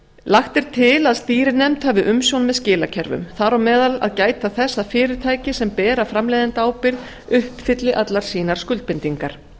lagt er til að stýrinefnd hafi umsjón með skilakerfum þar á meðal að gæta þess að fyrirtæki sem bera framleiðendaábyrgð uppfylli allar sínar skuldbindingar